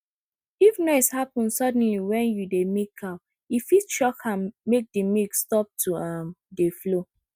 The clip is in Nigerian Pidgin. if noise happen suddenly when you dey milk cow e fit shock am make the milk stop to um dey flow